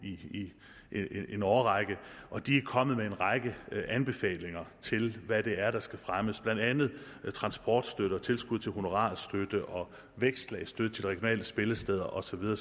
i en årrække og de er kommet med en række anbefalinger til hvad det er der skal fremmes blandt andet transportstøtte og tilskud til honorarstøtte og vækstlag støtte til de regionale spillesteder og så videre